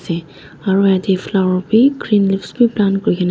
asa aru ete flower vi green leaves vi plant kurina.